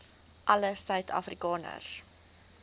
alle suid afrikaners